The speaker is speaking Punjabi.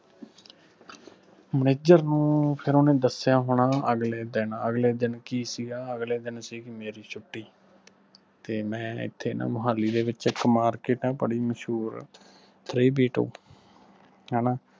manager ਨੂੰ ਫਿਰ ਓਹਨੇ ਦਸਿਆ ਹੋਣਾ ਅਗਲੇ ਦਿਨ ਅਗਲੇ ਦਿਨ ਕੀ ਸੀਗਾ ਅਗਲੇ ਦਿਨ ਸੀਗੀ ਮੇਰੀ ਛੁਟੀ ਤੇ ਮੈਂ ਇੱਥੇ ਨਾ ਮੋਹਾਲੀ ਦੇ ਵਿਚ market ਆ ਬੜੀ ਮਸ਼ਹੂਰ three b two ਹਣਾ